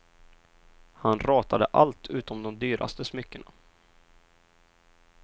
Han ratade allt utom de dyraste smyckena.